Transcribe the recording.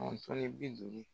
ni bi duuru.